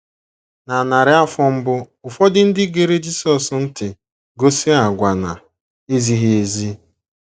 Na narị afọ mbụ, ụfọdụ ndị gere Jisọs ntị gosi àgwà na - ezighị ezi.